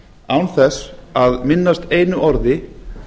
án þess að minnast einu orði